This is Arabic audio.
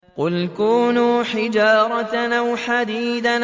۞ قُلْ كُونُوا حِجَارَةً أَوْ حَدِيدًا